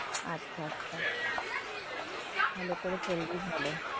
আচ্ছা, আচ্ছা, ভালো করে চললেই ভালো,